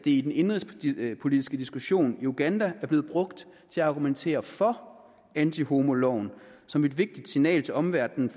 i den indenrigspolitiske diskussion i uganda er blevet brugt til at argumentere for antihomoloven som et vigtigt signal til omverdenen